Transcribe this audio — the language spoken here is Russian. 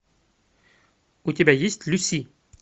у тебя есть люси